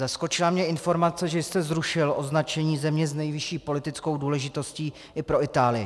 Zaskočila mě informace, že jste zrušil označení země s nejvyšší politickou důležitostí i pro Itálii.